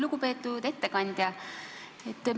Lugupeetud ettekandja!